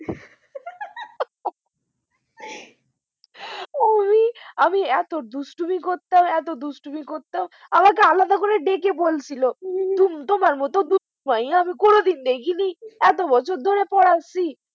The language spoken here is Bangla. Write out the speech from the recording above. আমি এত দুষ্টুমি করতাম এত দুষ্টুমি করতাম আমাকে আলাদা করে ডেকে বলছিল তোমার মত দুষ্টু মাইয়া আমি কোনদিন দেখিনি এত বছর ধরে পড়াচ্ছি।